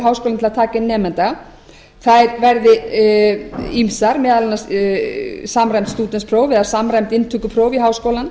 til að taka inn nemanda þær verði ýmsar meðal annars samræmd stúdentspróf eða samræmd inntökupróf í háskólann